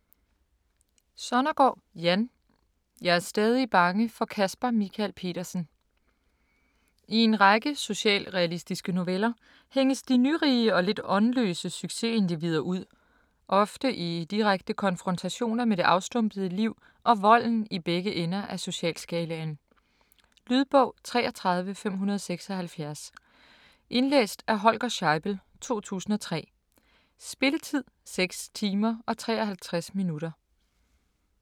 Sonnergaard, Jan: Jeg er stadig bange for Caspar Michael Petersen I en række socialrealistiske noveller hænges de nyrige og lidt åndløse succesindivider ud, ofte i direkte konfrontationer med det afstumpede liv og volden i begge ender af socialskalaen. Lydbog 33576 Indlæst af Holger Scheibel, 2003. Spilletid: 6 timer, 53 minutter.